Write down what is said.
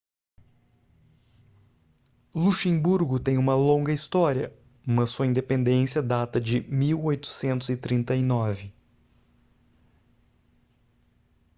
luxemburgo tem uma longa história mas sua independência data de 1839